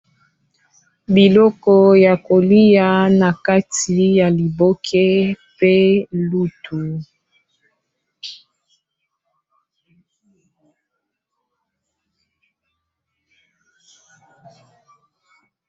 Biloko ya kolia na kati ya liboke pe lutu.